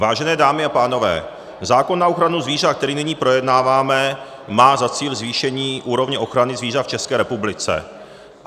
Vážené dámy a pánové, zákon na ochranu zvířat, který nyní projednáváme, má za cíl zvýšení úrovně ochrany zvířat v České republice.